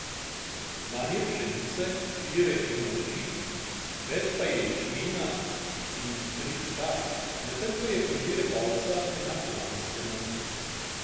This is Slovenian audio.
Manj je pšenice, pire in rži, več pa je ječmena in tritikale, medtem ko je pridelek ovsa enak lanskemu.